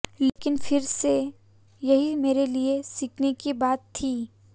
लेकिन फिर से यही मेरे लिए सीखने की बात थी